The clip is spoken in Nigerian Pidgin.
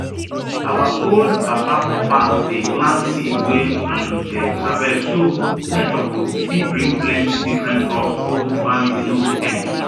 our old papa for farm dey plant seed wey um dem harvest so nature go still bring plenty different crop old farming no go end